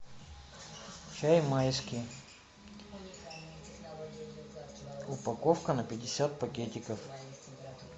чай майский упаковка на пятьдесят пакетиков